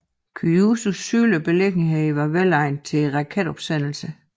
Kyushus sydlige beliggenhed var velegnet til raketopsendelser